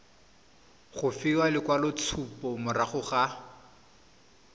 go fiwa lekwaloitshupo morago ga